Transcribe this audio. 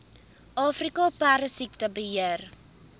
afrika perdesiekte beheer